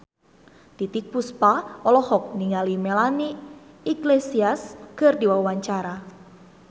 Titiek Puspa olohok ningali Melanie Iglesias keur diwawancara